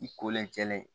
I kolen cɛlen